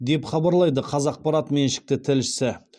деп хабарлайды қазақпарат меншікті тілшісі